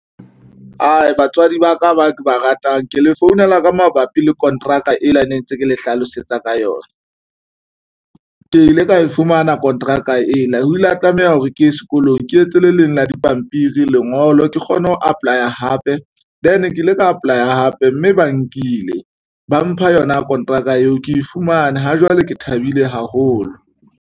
Batswadi ba ka ba ke ba ratang ke le founela ka mabapi le konteraka ela ne ntse ke le hlalosetsa ka yona, ke ile ka e fumana kontraka ena o ile a tlameha hore ke ye sekolong. Ho ke etse le leng la dipampiri lengolo ke kgone ho apply-a hape then ke ile ka apply-a hape mme ba nkile ba mpha yona kontraka eo ke e fumane ha jwale ke thabile haholo.